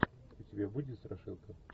у тебя будет страшилка